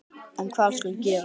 En hvað skal gera?